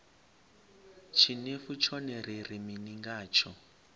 tshinefu tshone ri ri mini ngatsho